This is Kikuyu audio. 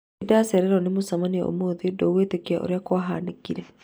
Nĩ ndacererirũo nĩ mũcemanio ũmũthĩ ndũguetĩkia ũrĩa kwahanĩkire